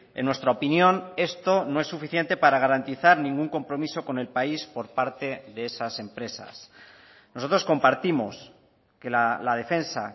en nuestra opinión esto no es suficiente para garantizar ningún compromiso con el país por parte de esas empresas nosotros compartimos que la defensa